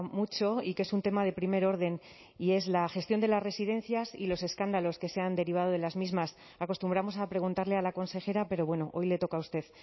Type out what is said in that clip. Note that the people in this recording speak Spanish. mucho y que es un tema de primer orden y es la gestión de las residencias y los escándalos que se han derivado de las mismas acostumbramos a preguntarle a la consejera pero bueno hoy le toca a usted